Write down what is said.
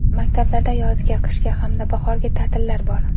Maktablarda yozgi, qishki hamda bahorgi ta’tillar bor.